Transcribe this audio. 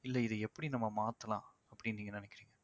இல்ல இத எப்படி நம்ம மாத்தலாம் அப்படின்னு நீங்க நினைக்கிறீங்க